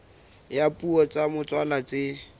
ya dipuo tsa motswalla tse